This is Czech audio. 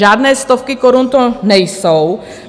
Žádné stovky korun to nejsou.